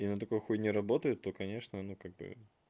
и на такой хуйне работает то конечно ну как бы